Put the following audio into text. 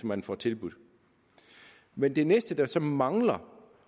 man får tilbudt men det næste der så mangler